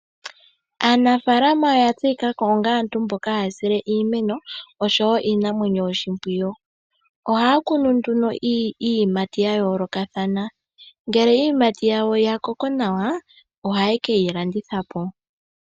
Aanafaalama oya tseyikako onga aantu mboka haya sile iimeno osho wo iinamwenyo oshipwiyu. Ohaa kunu nduno iiyimati ya yoolokathana, ngele iiyimati yakoko nduno nawa, ohaye keyi landitha po.